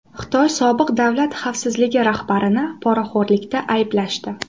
Xitoy sobiq davlat xavfsizligi rahbarini poraxo‘rlikda ayblashdi.